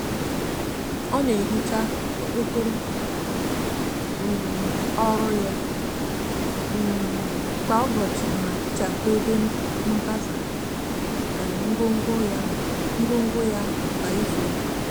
o n"ehicha okpokoro um oru ya um kwa ubochi ma tichapu ebe mpasa um ngwogwo ya ngwogwo ya kwa izu uka